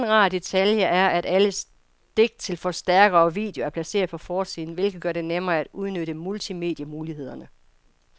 En anden rar detalje er, at alle stik til forstærker og video er placeret på forsiden, hvilket gør det nemmere at udnytte multimedie-mulighederne.